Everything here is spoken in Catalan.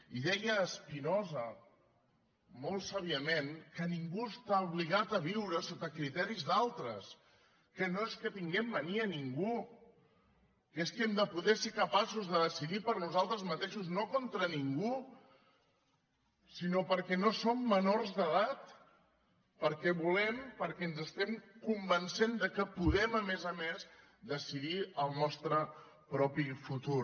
i deia spinoza molt sàviament que ningú està obligat a viure sota criteris d’altres que no és que tinguem mania a ningú que és que hem de poder ser capaços de decidir per nosaltres mateixos no contra ningú sinó perquè no som menors d’edat perquè volem perquè ens estem convencent que podem a més a més decidir el nostre propi futur